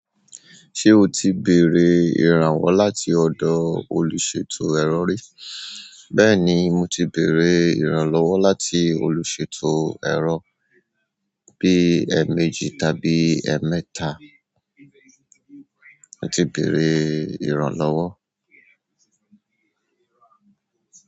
Ṣé o ti béèrè ìrànwọ́ láti ọ̀dọ̀ olùṣètò ẹ̀ro rí? Bẹ́ẹ̀ ni, mo ti béèrè ìrànlọ́wọ́ láti olùṣètò ẹro bí ẹméjì tàbí ẹmẹ́tà. Mo ti béèrè ìrànlọ́wọ́.